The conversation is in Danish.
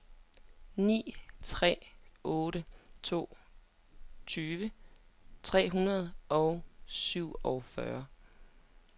ni tre otte to tyve tre hundrede og syvogfyrre